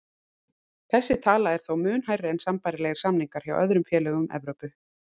Þessi tala er þó mun hærri en sambærilegir samningar hjá öðrum félögum í Evrópu.